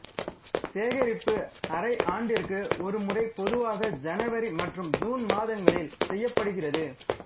சேகரிப்பு அரை ஆண்டிற்கு ஒரு முறை பொதுவாக ஜனவரி மற்றும் ஜூன் மாதங்களில் செய்யப்படுகிறது